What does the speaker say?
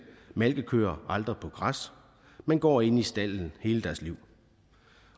malkekøer aldrig på græs men går inde i stalden hele deres liv